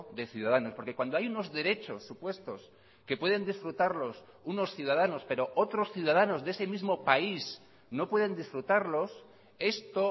de ciudadanos porque cuando hay unos derechos supuestos que pueden disfrutarlos unos ciudadanos pero otros ciudadanos de ese mismo país no pueden disfrutarlos esto